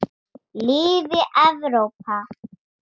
Lifi Evrópa.